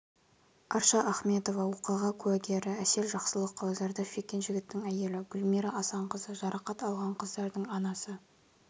арша ахметова оқиға куәгері әсел жақсылықова зардап шеккен жігіттің әйелі гүлмира асанқызы жарақат алған қыздардың анасы